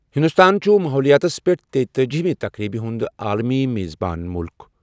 ہِنٛدُستان چُھ ماحولِیاتس پیٚٹھ تیٖتأجی ہِمہِ تقریٖبہِ ہُنٛد عالمی میزبان مُلک۔